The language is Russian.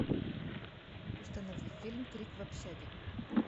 установи фильм крик в общаге